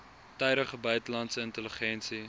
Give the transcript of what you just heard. tydige buitelandse intelligensie